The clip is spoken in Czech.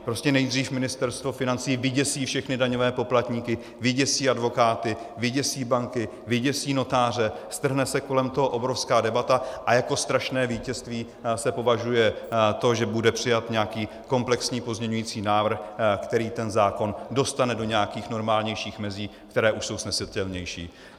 Prostě nejdřív Ministerstvo financí vyděsí všechny daňové poplatníky, vyděsí advokáty, vyděsí banky, vyděsí notáře, strhne se kolem toho obrovská debata a jako strašné vítězství se považuje to, že bude přijat nějaký komplexní pozměňující návrh, který ten zákon dostane do nějakých normálnějších mezí, které už jsou snesitelnější.